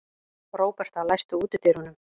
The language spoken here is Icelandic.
Róberta, læstu útidyrunum.